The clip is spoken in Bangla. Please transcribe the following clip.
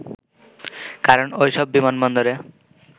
কারণ ওইসব বিমানবন্দরে